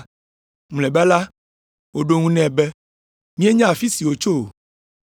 Mlɔeba la woɖo eŋu nɛ be, “Míenya afi si wòtso o.”